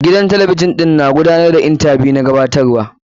Gidan talabijin ɗin na gudanar da intabiyu wa mukamin gabatarwa.